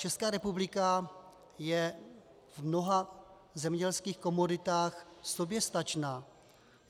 Česká republika je v mnoha zemědělských komoditách soběstačná.